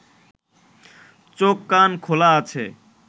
চোখ কান খোলা আছে